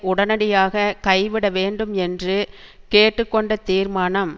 உடனடியாக கைவிட வேண்டும் என்று கேட்டு கொண்ட தீர்மானம்